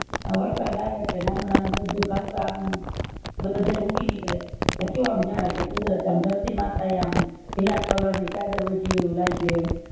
આ વરસાદ આવે એટલે નાનું નાનું બધું ઘાસ આમ બધેય ઉગી નીકળે તે કેવું આમ જાણે કુદરત આમ ધરતી માતા એ આમ લીલા color ની ચાદર ઓયધી હ્લોઈ એવું લાયગું એમ